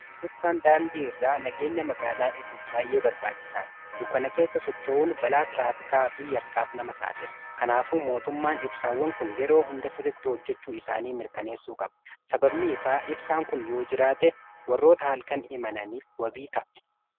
Ibsaan daandii irraa nageenya magaalaa eeguuf baay'ee barbaachisaadha. dukkana keessa socho'uun balaa tiraafikaa fi yakkaaf nama saaxila. kanaafuu mootummaan ibsaawwan kun yeroo hunda sirritti hojjechuu isaanii mirkaneessuu qaba sababni isaa ibsaan kun yoo jiraate warroota halkan imananiif wabii ta'a.